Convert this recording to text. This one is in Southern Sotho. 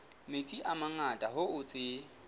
metsi a mangata hoo tse